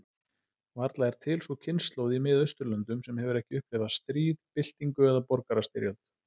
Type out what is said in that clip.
Varla er til sú kynslóð í Mið-Austurlöndum sem hefur ekki upplifað stríð, byltingu, eða borgarastyrjöld.